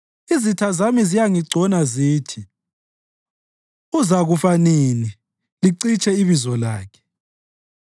Izitha zami ziyangigcona zithi, “Uzakufa nini licitshe ibizo lakhe?”